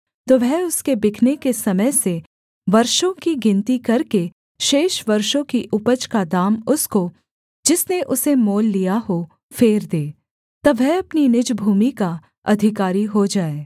तो वह उसके बिकने के समय से वर्षों की गिनती करके शेष वर्षों की उपज का दाम उसको जिसने उसे मोल लिया हो फेर दे तब वह अपनी निज भूमि का अधिकारी हो जाए